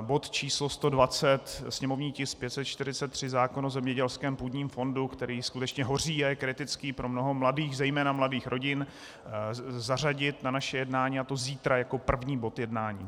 bod číslo 120, sněmovní tisk 543 zákona o zemědělském půdním fondu, který skutečně hoří a je kritický pro mnoho mladých, zejména mladých rodin, zařadit na naše jednání, a to zítra jako první bod jednání.